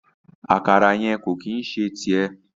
Àkàrà yẹn ko ki n ṣe tiẹ.